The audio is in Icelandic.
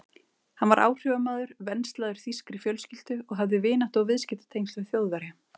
Hann var áhrifamaður, venslaður þýskri fjölskyldu og hafði vináttu- og viðskiptatengsl við Þjóðverja.